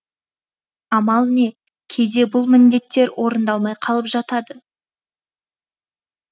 амал не кейде бұл міндеттер орындалмай қалып жатады